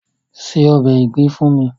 Se ọbè ìgbín fún mi!